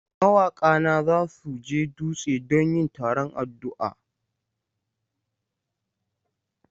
Mawaka na za su je dutse don yin taron addu'a.